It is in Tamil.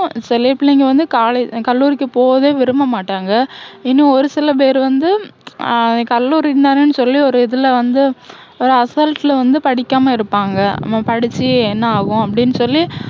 சில பிள்ளைங்க வந்து college கல்லூரிக்கு போகவே விரும்பமாட்டாங்க. இன்னும் ஒரு சில பேரு வந்து ஹம் கல்லூரின்னு தானன்னு சொல்லி ஒரு இதுல வந்து ஒரு அசால்ட்டுல வந்து படிக்காம இருப்பாங்க. நம்ம படிச்சு என்ன ஆகும் அப்படின்னு சொல்லி